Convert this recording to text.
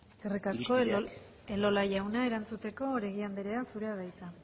eskerrik asko elola jauna erantzuteko oregi andrea zurea da hitza